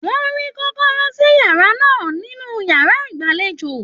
Wọn rí kọ̀kọ̀rọ̀ sí yàrá náà nínú yàrá ìgbàlèjo.